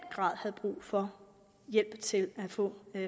grad havde brug for hjælp til at få